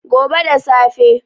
gobe da safe